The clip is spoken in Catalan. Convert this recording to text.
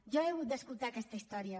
jo he hagut d’escoltar aquesta història